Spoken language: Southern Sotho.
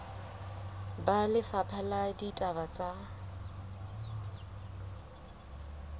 ba lefapha la ditaba tsa